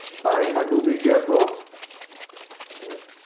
પાણી માં ડૂબી ગયા છો હમમ